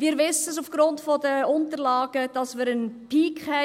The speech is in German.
Wir wissen aufgrund der Unterlagen, dass wir bei